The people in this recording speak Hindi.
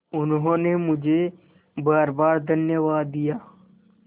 उन्होंने मुझे बारबार धन्यवाद दिया